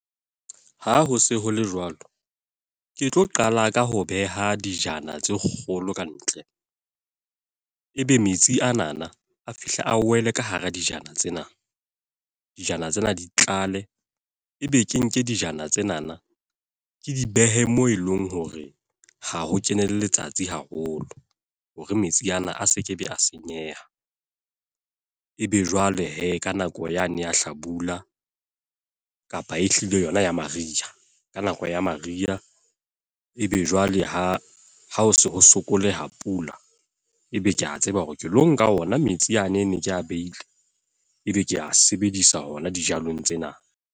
Ha ho se ho le jwalo. Ke tlo qala ka ho beha dijana tse kgolo ka ntle. E be metsi anana, a fihle a wele ka hara dijana tsena. Dijana tsena di tlale, ebe ke nke dijana tsenana, ke di behe moo e leng hore ha ho kene letsatsi haholo. Hore metsi ana a se ke be a senyeha. E be jwale he ka nako yane ya hlabula, kapa ehlile yona ya mariha. Ka nako ya mariha. E be jwale ha ho se ho sokoleha pula, e be ke a tseba hore ke lo nka ona metsi yane e ne ko behile. E be ke a sebedisa hona dijalong tsena.